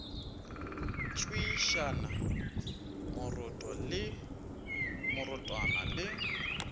tswišana moroto le morothwana le